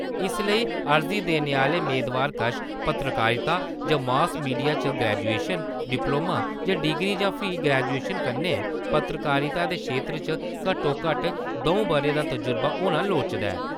इस लेई अर्जी देने आह्‌ले मेदवार कश पत्रकारिता जां मॉस मीडिया च ग्रैजुएशन, डिपलोमा जां डिग्री जां फ्ही ग्रैजुएशन कन्नै पत्रकारिता दे खेत्तर च घट्टो-घट्ट द`ऊं ब'रें दा तजुर्बा होना लोड़चदा ऐ।